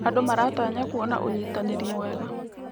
Andũ maratanya kuona ũnyitanĩri mwega.